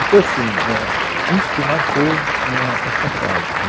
Então, assim, é, ãh, é isto marcou, é, esta casa, né